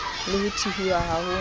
le ho thuhiwa ha ho